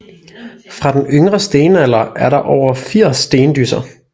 Fra den yngre stenalder er der over 80 Stendysser